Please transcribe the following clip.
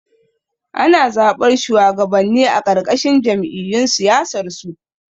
Ana zaɓar shuwagabanni a ƙarƙashin jam'iyyun siyasarsu